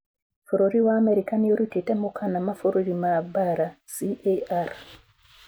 Bũrũri wa America nĩrutite mukana mabũrũri ma mbara CAR